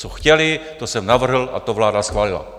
Co chtěli, to jsem navrhl a to vláda schválila.